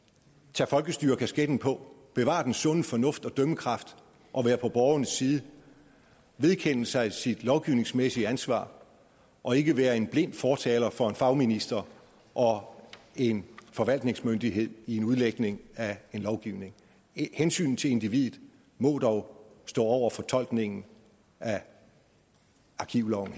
tage folkestyrekasketten på bevare den sunde fornuft og dømmekraft og være på borgernes side vedkende sig sit lovgivningsmæssige ansvar og ikke være en blind fortaler for en fagminister og en forvaltningsmyndighed i en udlægning af en lovgivning hensynet til individet må dog stå over fortolkningen af arkivloven